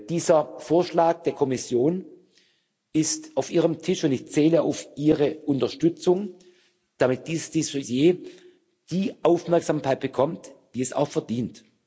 Dieser Vorschlag der Kommission ist auf Ihrem Tisch, und ich zähle auf Ihre Unterstützung, damit dieses Dossier die Aufmerksamkeit bekommt, die es auch verdient.